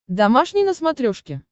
домашний на смотрешке